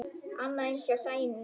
Annað eins hjá Sæunni.